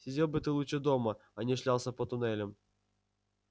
сидел бы ты лучше дома а не шлялся по туннелям